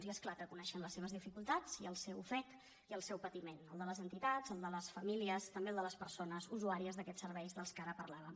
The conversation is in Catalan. i és clar que coneixem les seves dificultats i el seu ofec i el seu patiment el de les entitats el de les famílies també el de les persones usuàries d’aquests serveis de què ara parlàvem